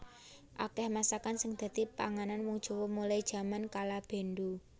Akeh masakan sing dhadi pangane wong Jawa mulai jaman kalabendhu